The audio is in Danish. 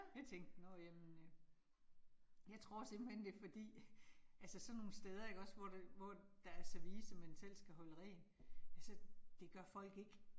Jeg tænkte nåh jamen øh. Jeg tror simpelthen det fordi altså sådan nogle steder ikke også, hvor det, hvor der er service, man selv skal holde rent, altså det gør folk ikke